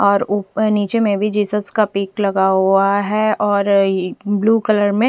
और ऊपर निचे में भी जेसे का पिक लगा हुआ है और ये अ ब्लू कलर में --